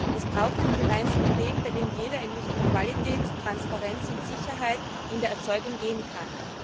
Wir brauchen einen gemeinsamen Weg, bei dem jeder in Richtung Qualität, Transparenz und Sicherheit in der Erzeugung gehen kann.